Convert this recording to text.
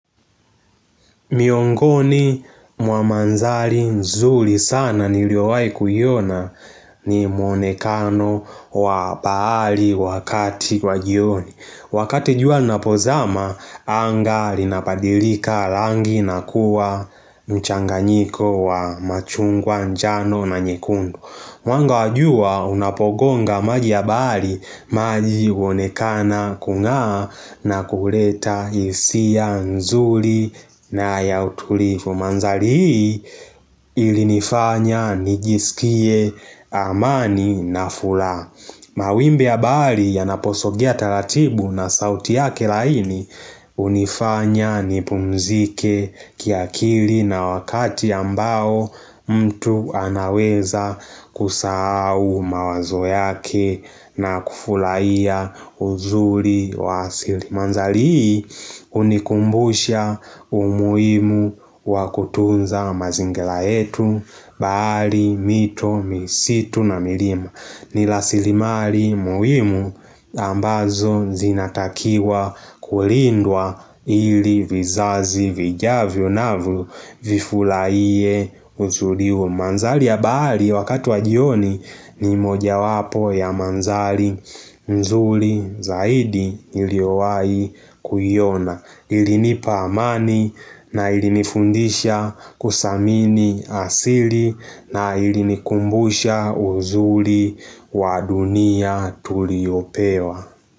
Miongoni mwa madhali nzuli sana niliowai kuiona ni mwonekano wa bahali wakati kwa jioni. Wakati jua napozama, anga linapadilika langi na kuwa mchanganyiko wa machungwa njano na nyekundu mwango wa jua unapogonga maji ya bali maji uonekana kungaa na kureta isia nzuri na ya utulifu. Mandali hii ilinifanya nigisikie amani na fula. Mawimbi ya bahali ya naposogia talatibu na sauti yake laini unifanya nipumzike kiakiri na wakati ambao mtu anaweza kusahau mawazo yake na kufulaiya uzuri wa siri manzalii unikumbusha umuhimu wakutunza mazingira yetu bali miito misitu na milima ni lasilimali muhimu ambazo zinatakiwa kulindwa ili vizazi vijavyo na vifulaie uzuli huo Manzali ya bali wakatu wajioni ni moja wapo ya manzali mzuli zaidi iliowai kuyiona ilinipamani na ilinifundisha kusamini asili na ilinikumbusha uzuri wadunia tuliyopewa.